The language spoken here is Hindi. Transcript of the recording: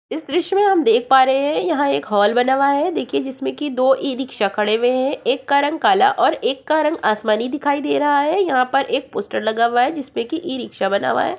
इस इसरो मे हम देख पा रहे हैं। यहाँ एक हॉल बना हुआ है देखिये जिसमे की दो ई रिक्शा खड़े हुये हैं। एक का रंग काला और एक का रंग आसमानी दिखाई दे रहा है। यहां पर एक पोस्टर लगा हुआ है। जिस पर की ई रिक्शा बना हुआ है।